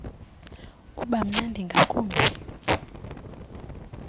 uba mnandi ngakumbi